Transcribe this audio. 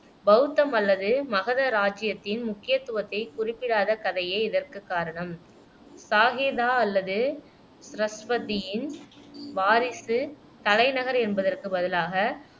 பௌத்தம் அல்லது மகத ராஜ்ஜியத்தின் முக்கியத்துவத்தைக் குறிப்பிடாத கதையே இதற்குக் காரணம் சாகேதா அல்லது ஷ்ரவஸ்தியின் வாரிசு தலைநகர் என்பதற்குப் பதிலாக